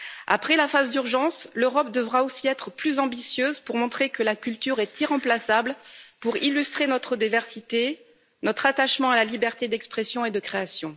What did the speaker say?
Après la phase d'urgence, l'Europe devra aussi être plus ambitieuse pour montrer que la culture est irremplaçable, pour illustrer notre diversité, notre attachement à la liberté d'expression et de création.